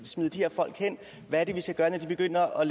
smide de her folk hen hvad er det vi skal gøre når de begynder at